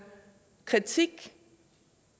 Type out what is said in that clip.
kritik